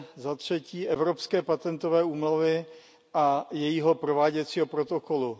zatřetí Evropské patentové úmluvy a jejího prováděcího protokolu.